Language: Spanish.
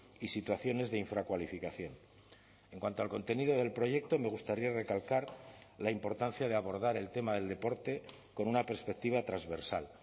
y situaciones de infracualificación en cuanto al contenido del proyecto me gustaría recalcar la importancia de abordar el tema del deporte con una perspectiva transversal